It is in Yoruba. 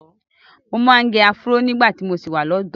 Mo máa ń gẹ áfúró nígbà tí mo ṣì wà lọ́dọ̀ọ́.